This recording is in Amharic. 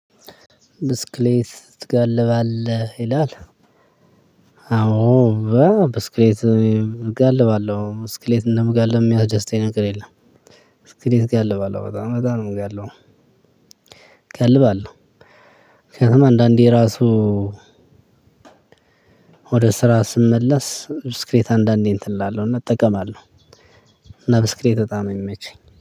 ብስክሌት ትጋልባለህ ይላል? አው ብስክሌት እጋልባለሁ ብስክሌት እንደመጋለብ የሚያስደስተኝ ነገር የለም። ብስክሌት እጋልባለሁ በጣም በጣም ነው የምጋልበው። እጋልባለሁ ምክንያቱም አንዳንዴ ራሱ ወደ ስራ ስመለስ ብስክሌት አንዳንዴ እንትን እላለሁና እጠቀማለሁ። እና ብስክሌት በጣም ነው የሚመቸኝ